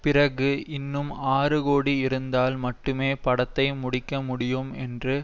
பிறகு இன்னும் ஆறு கோடி இருந்தால் மட்டுமே படத்தை முடிக்க முடியும் என்று